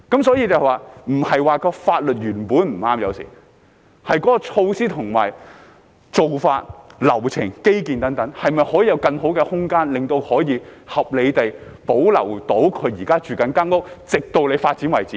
所以，有時不是說法律原本不對，而是有關措施、做法、流程、基建等，可否有更好的空間，令他們可以合理地保留現時居住的寮屋，直至政府要發展為止呢？